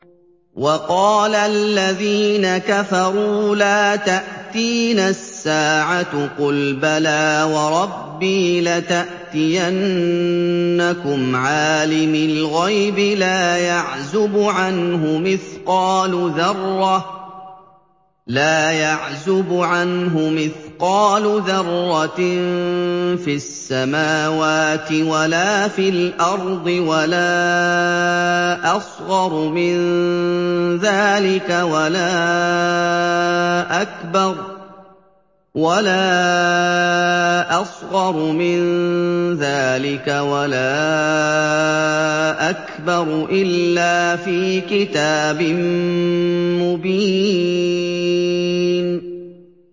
وَقَالَ الَّذِينَ كَفَرُوا لَا تَأْتِينَا السَّاعَةُ ۖ قُلْ بَلَىٰ وَرَبِّي لَتَأْتِيَنَّكُمْ عَالِمِ الْغَيْبِ ۖ لَا يَعْزُبُ عَنْهُ مِثْقَالُ ذَرَّةٍ فِي السَّمَاوَاتِ وَلَا فِي الْأَرْضِ وَلَا أَصْغَرُ مِن ذَٰلِكَ وَلَا أَكْبَرُ إِلَّا فِي كِتَابٍ مُّبِينٍ